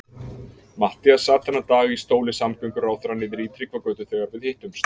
Matthías sat þennan dag í stóli samgönguráðherra niðri í Tryggvagötu þegar við hittumst.